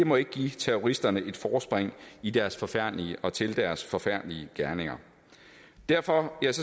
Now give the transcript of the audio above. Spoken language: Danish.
må ikke give terroristerne et forspring i deres forfærdelige og til deres forfærdelige gerninger derfor